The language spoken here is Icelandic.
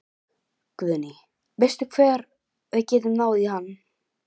Guðný: Veistu hvar við getum náð í hann?